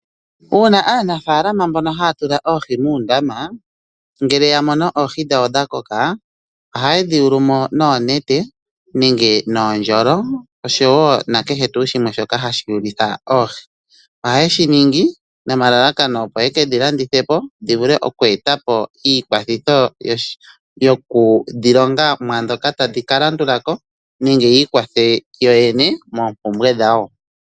Uuna aanafaalama mbono haa tula oohi muundama, ngele ya mono oohi dhawo dha koka, ohaye dhi yulu mo noonete nenge noondjolo, osho wo nakehe tuu shimwe shoka hatu yulitha oohi. Ohaye shi ningi nomalalakano opo ye ke dhi landithe po dhi vule okweeta po iikwathitho yoku dhi longa mwaandhoka tadhi ka landula ko nenge yi ikwathe yoyene moompumbwe dhawo.